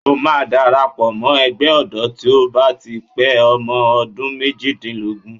O máa darapọ̀ mọ́ Ẹgbẹ́ ọ̀dọ́ tí o bá ti pé ọmọ ọdún méjìdínlógún.